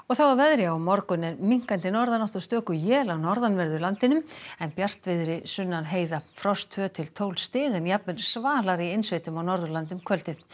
þá að veðri á morgun er minnkandi norðanátt og stöku él á norðanverðu landinu en bjartviðri sunnan heiða frost tveimur til tólf stig en jafnvel svalara í innsveitum á Norðurlandi um kvöldið